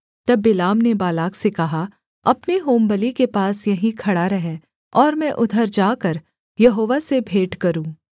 तब बिलाम ने बालाक से कहा अपने होमबलि के पास यहीं खड़ा रह और मैं उधर जाकर यहोवा से भेंट करूँ